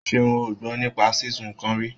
Ṣeun ò gbọ́ nípa sísun nǹkan rí.